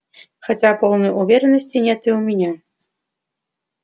хотя полной уверенности нет и у меня